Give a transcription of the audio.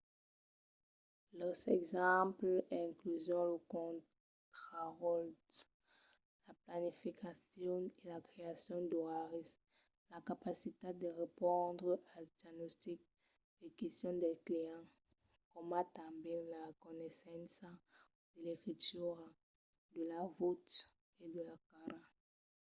los exemples incluson lo contraròtle la planificacion e la creacion d'oraris la capacitat de respondre als diagnostics e questions dels clients coma tanben la reconeissença de l'escritura de la votz e de la cara